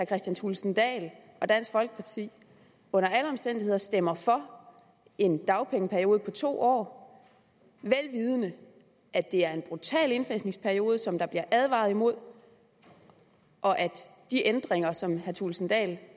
kristian thulesen dahl og dansk folkeparti under alle omstændigheder stemmer for en dagpengeperiode på to år vel vidende at det er en brutal indfasningsperiode som der bliver advaret imod og at de ændringer som herre thulesen dahl